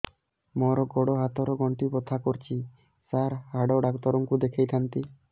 ମୋର ଗୋଡ ହାତ ର ଗଣ୍ଠି ବଥା କରୁଛି ସାର ହାଡ଼ ଡାକ୍ତର ଙ୍କୁ ଦେଖାଇ ଥାନ୍ତି